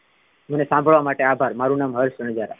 મને સાંભળવા માટે આભાર મારુ નામ હર્ષ રનજારા.